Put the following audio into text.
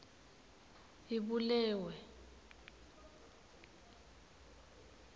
ibulewe